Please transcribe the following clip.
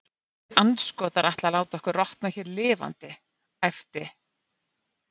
Þessir andskotar ætla að láta okkur rotna hér lifandi æpti